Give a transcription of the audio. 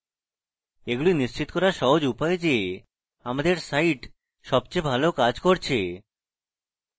এগুলি নিশ্চিত করার সহজ উপায় যে আমাদের site সবচেয়ে ভালো কাজ করছে